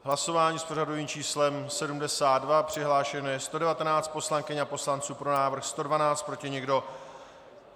Hlasování s pořadovým číslem 72, přihlášeno je 119 poslankyň a poslanců, pro návrh 112, proti nikdo.